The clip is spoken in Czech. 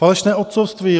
Falešné otcovství.